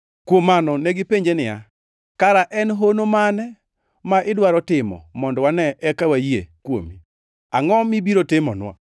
Kuom mano negipenje niya, “Kara en hono mane ma idwaro timo mondo wane eka wayie kuomi? Angʼo mibiro timonwa?